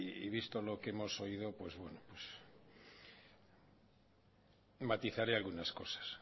y visto lo que hemos oído matizaré algunas cosas